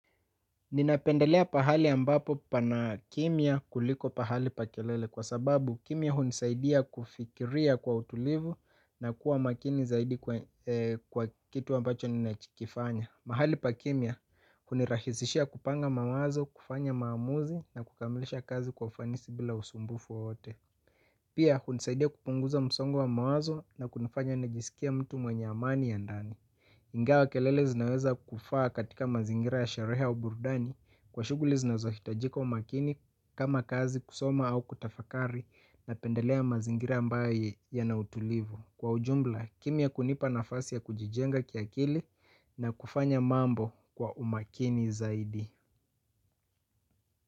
Ninapendelea pahali ambapo pana kimya kuliko pahali pa kelele kwa sababu kimya hunisaidia kufikiria kwa utulivu na kuwa makini zaidi kwa kitu ambacho ninachokifanya. Mahali pa kimya hunirahisishia kupanga mawazo, kufanya maamuzi na kukamilisha kazi kwa ufanisi bila usumbufu wowote. Pia hunisaidia kupunguza msongo wa mawazo na kunifanya najisikie mtu mwenye amani ya ndani. Ingawa kelele zinaweza kufaa katika mazingira ya sherehe au burudani kwa shughuli zinazohitajika umakini kama kazi, kusoma au kutafakari napendelea mazingira ambayo yana utulivu. Kwa ujumla, kimya hunipa nafasi ya kujijenga kiakili na kufanya mambo kwa umakini zaidi.